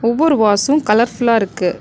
ஒவ்வொரு வாசும் கலர் ஃபுல்லா இருக்கு.